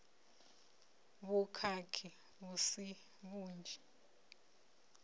na vhukhakhi vhu si vhunzhi